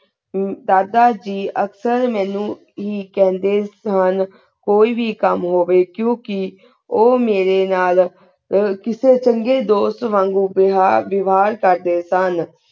ਅਹ ਦਾਦਾ ਜੀ ਅਕਸਰ ਮਨੁ ਹੀ ਕਹਿੰਦੇ ਹਨ ਕੋਈ ਵੀ ਕਾਮ ਹੋਵੀ ਕਿਉਕਿ ਊ ਮਾਰੀ ਨਾਲ ਹੋਰ ਕਿਸੇ ਚੰਗੇ ਦੋਸਤ ਵਾਂਗੋ ਬ੍ਯ੍ਹਾਰ ਜਵਾਰ ਕਰ ਦੇ ਸਨ